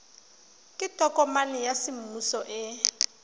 ke tokomane ya semmuso e